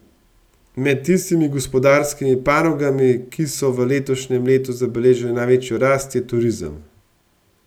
Med tistimi gospodarskimi panogami, ki so v letošnjem letu zabeležila največjo rast, je turizem.